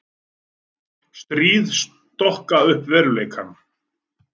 Stríð stokka upp veruleikann.